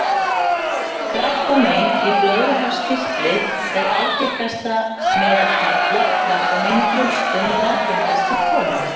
Krabbamein í blöðruhálskirtli er algengast meðal karla og krabbamein í brjóstum er algengast hjá konum.